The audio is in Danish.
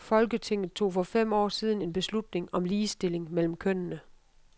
Folketinget tog for fem år siden en beslutning om ligestilling mellem kønnene.